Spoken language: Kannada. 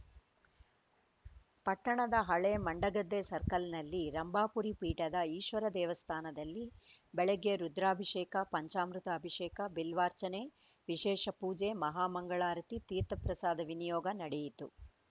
ಪಟ್ಟಣದ ಹಳೆ ಮಂಡಗದ್ದೆ ಸರ್ಕಲ್‌ನಲ್ಲಿ ರಂಭಾಪುರಿ ಪೀಠದ ಈಶ್ವರ ದೇವಸ್ಥಾನದಲ್ಲಿ ಬೆಳಗ್ಗೆ ರುದ್ರಾಭಿಷೇಕ ಪಂಚಾಮೃತ ಅಭಿಷೇಕ ಬಿಲ್ವಾರ್ಚನೆ ವಿಶೇಷ ಪೂಜೆ ಮಹಾ ಮಂಗಳಾರತಿ ತೀರ್ಥಪ್ರಸಾದ ವಿನಿಯೋಗ ನಡೆಯಿತು